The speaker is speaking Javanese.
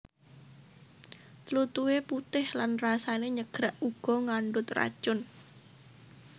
Tlutuhe putih lan rasane nyegrak uga ngandhut racun